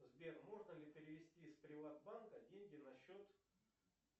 сбер можно ли перевести с приват банка деньги на счет